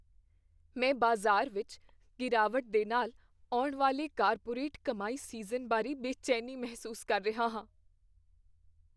ਮੈਂ ਬਾਜ਼ਾਰ ਵਿੱਚ ਗਿਰਾਵਟ ਦੇ ਨਾਲ ਆਉਣ ਵਾਲੇ ਕਾਰਪੋਰੇਟ ਕਮਾਈ ਸੀਜ਼ਨ ਬਾਰੇ ਬੇਚੈਨੀ ਮਹਿਸੂਸ ਕਰ ਰਿਹਾ ਹਾਂ।